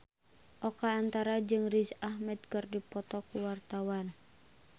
Oka Antara jeung Riz Ahmed keur dipoto ku wartawan